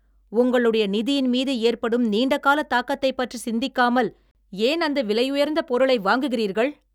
உங்களுடைய நிதியின்மீது ஏற்படும் நீண்டகால தாக்கத்தை பற்றி சிந்திக்காமல் ஏன் அந்த விலையுயர்ந்த பொருளை வாங்குகிறீர்கள்?